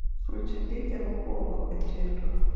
ruch ndike mokwongo e chenro